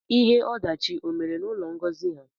Ihe odachị o mere na ụlọ Ngozi ha?